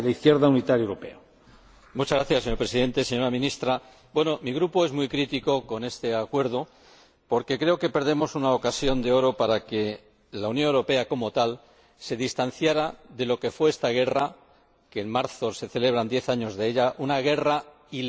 Señor Presidente, señora Ministra, mi Grupo es muy crítico con este Acuerdo porque creo que perdemos una ocasión de oro para que la Unión Europea como tal se distancie de lo que fue esa guerra en marzo se celebran diez años de ella una guerra ilegal, ilegítima,